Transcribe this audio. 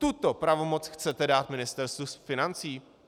Tuto pravomoc chcete dát Ministerstvu financí?